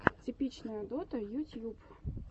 типичная дота ютьюб